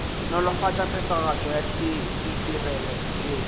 nolofatša phethagatšo ya ditirelo yeo